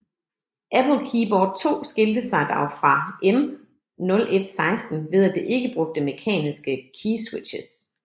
Apple Keyboard II skilte sig dog fra M0116 ved at det ikke brugte mekaniske keyswitches